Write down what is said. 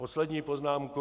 Poslední poznámka.